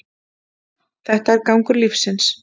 Þetta er gangur lífsins